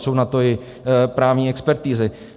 Jsou na to i právní expertizy.